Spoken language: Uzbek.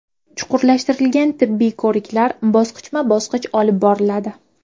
Chuqurlashtirilgan tibbiy ko‘riklar bosqichma bosqich olib boriladi.